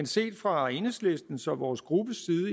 set fra enhedslistens og vores gruppe